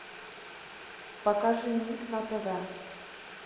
покажи ник на тв